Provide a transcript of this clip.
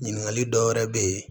Ɲininkali dɔwɛrɛ bɛ yen